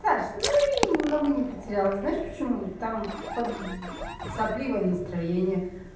саш ну и много не потеряла знаешь почему там под сопливое настроение